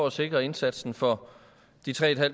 at sikre indsatsen for de tre